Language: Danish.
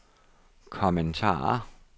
kommentarer